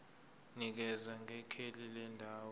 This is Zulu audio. nikeza ngekheli lendawo